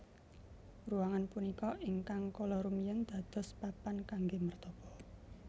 Ruangan punika ingkang kala rumiyin dados papan kanggé mertapa